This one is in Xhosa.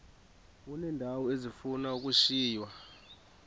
uneendawo ezifuna ukushiywa